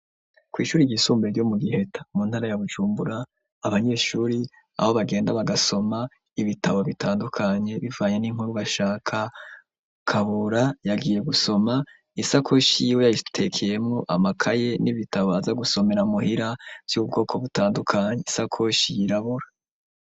Kw'ishure ryisumbuye ryo mu Giheta mu ntara ya Bujumbura, abanyeshure aho bagenda bagasoma ibitabo bitandukanye bivanye n'inkuru bashaka, Kabura yagiye gusoma, isakoshi yiwe yayitekeyemwo amakaye n'ibitabo aza gusomera muhira vy'ubwoko butandukanye, isakoshi yirabura.